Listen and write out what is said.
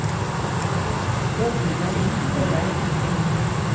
Jeg bryr meg enkelt og greit ikke.